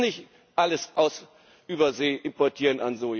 Wir müssen nicht alles an Soja aus Übersee importieren.